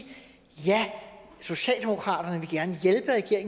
ja socialdemokratiet